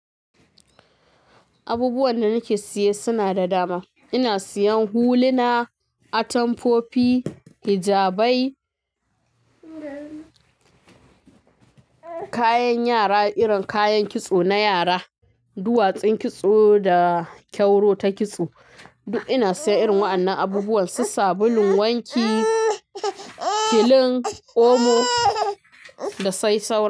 Abubuwan da nake siye suna da dama. Ina siyan huluna, atamfofi, hijabai, kayan yara irin kayan kitso na yara, duwatsun kitso da kyauro ta kitso. Duk ina siyan irin wa'annan abubuwan, su sabulun wanki, kilin omo da sai saura.